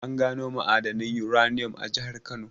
An gano ma'adanin uranium a jahar Kano.